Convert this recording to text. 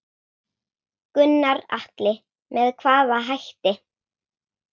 Gunnar Atli: Með hvaða hætti?